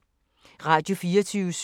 Radio24syv